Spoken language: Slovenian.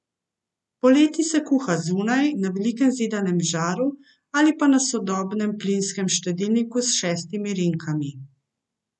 Poleti se kuha zunaj, na velikem zidanem žaru, ali pa na sodobnem plinskem štedilniku s šestimi rinkami.